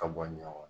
Ka bɔ ɲɔ kɔrɔ